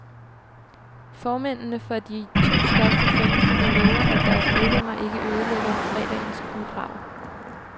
Formændene for de to største fanklubber lover, at deres medlemmer ikke ødelægger fredagens guldbrag.